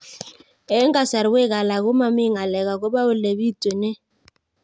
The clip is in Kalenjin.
Eng' kasarwek alak ko mami ng'alek akopo ole pitunee